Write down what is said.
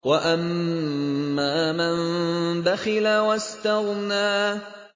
وَأَمَّا مَن بَخِلَ وَاسْتَغْنَىٰ